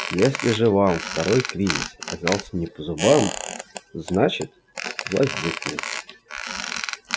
если же вам второй кризис оказался не по зубам значит вас здесь нет